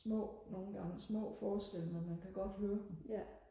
små nogle gange små forskelle men man kan godt høre dem